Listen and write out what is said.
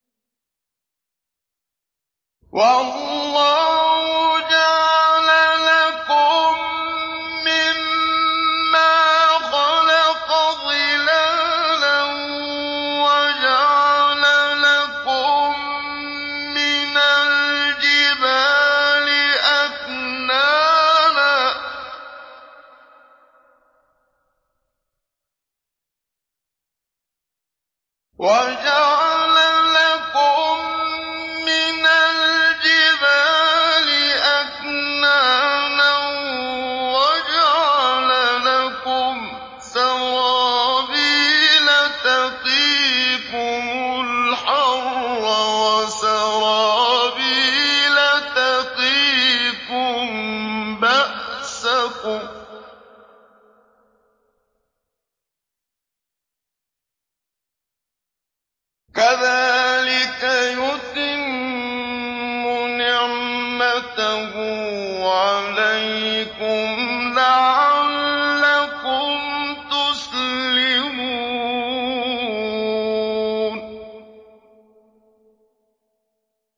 وَاللَّهُ جَعَلَ لَكُم مِّمَّا خَلَقَ ظِلَالًا وَجَعَلَ لَكُم مِّنَ الْجِبَالِ أَكْنَانًا وَجَعَلَ لَكُمْ سَرَابِيلَ تَقِيكُمُ الْحَرَّ وَسَرَابِيلَ تَقِيكُم بَأْسَكُمْ ۚ كَذَٰلِكَ يُتِمُّ نِعْمَتَهُ عَلَيْكُمْ لَعَلَّكُمْ تُسْلِمُونَ